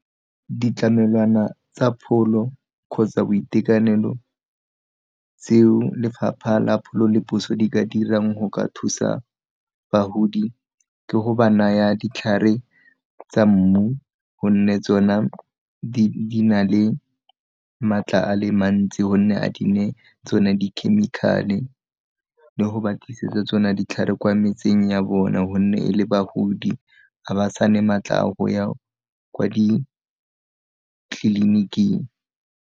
Ditlamelwana tsa pholo kgotsa boitekanelo tseo lefapha la pholo le puso di ka dirang go ka thusa bagodi ke go ba naya ditlhare tsa mmu, gonne tsona di na le maatla a le mantsi gonne ga di na tsone di-chemical-e le go ba tlisetsa tsona ditlhare kwa metseng ya bona gonne e le bagodi a ba sa ne maatla a go ya kwa ditleliniking.